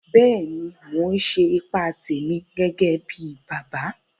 Bẹ́ẹ̀ni, Mò n ṣe ìpà tèmi gẹ́gẹ̀ bí bàbá